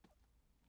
DR K